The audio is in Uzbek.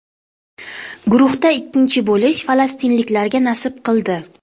Guruhda ikkinchi bo‘lish falastinliklarga nasib qildi.